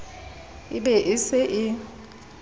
e be e se e